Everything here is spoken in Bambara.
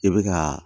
I bɛ ka